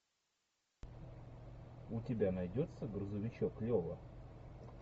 у тебя найдется грузовичок лева